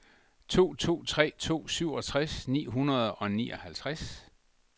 to to tre to syvogtres ni hundrede og nioghalvtreds